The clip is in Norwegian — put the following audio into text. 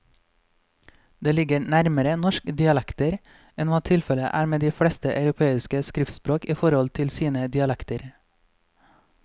Det ligger nærmere norske dialekter enn hva tilfellet er med de fleste europeiske skriftspråk i forhold til sine dialekter.